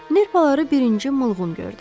Nerpaları birinci Mılğın gördü.